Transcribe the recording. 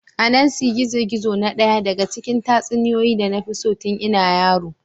Anansi gizo-gizo na ɗaya daga cikin tatsuniyoyi da na fi so tun ina yaro.